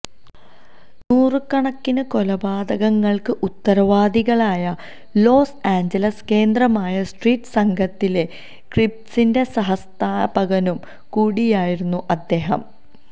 നൂറുകണക്കിനു കൊലപാതകങ്ങൾക്ക് ഉത്തരവാദികളായ Los Angeles കേന്ദ്രമായ സ്ട്രീറ്റ് സംഘത്തിലെ ക്രീപ്സിന്റെ സഹസ്ഥാപകനും കൂടിയായിരുന്നു അദ്ദേഹം